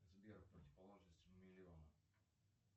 сбер противоположность миллиону